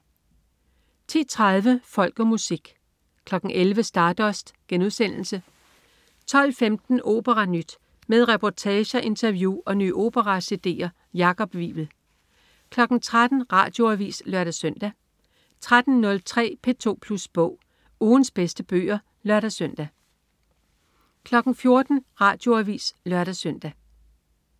10.30 Folk og Musik 11.00 Stardust* 12.15 OperaNyt. Med reportager, interview og nye opera-cd'er. Jakob Wivel 13.00 Radioavis (lør-søn) 13.03 P2 Plus Bog. Ugens bedste bøger (lør-søn) 14.00 Radioavis (lør-søn)